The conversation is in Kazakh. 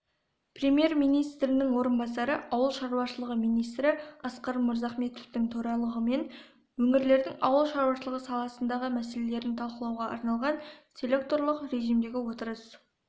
премьер-министрінің орынбасары ауыл шаруашылығы министрі асқар мырзахметовтің төрағалығымен өңірлердің ауыл шаруашылығы саласындағы мәселелерін талқылауға арналған селекторлық режимдегі отырыс